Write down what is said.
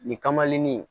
Nin kamalennin